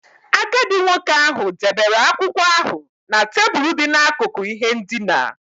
Agadi nwoke ahụ debere akwụkwọ ahụ na tebụl dị n'akụkụ ihe ndina.